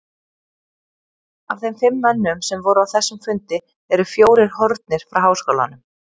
Af þeim fimm mönnum, sem voru á þessum fundi, eru fjórir horfnir frá háskólanum.